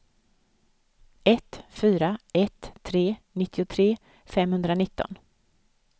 ett fyra ett tre nittiotre femhundranitton